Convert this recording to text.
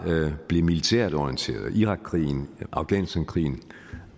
blev militært orienteret irakkrigen afghanistankrigen